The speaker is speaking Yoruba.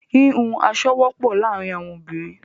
Wíwún aṣọ wọpọ laarin awọn obinrin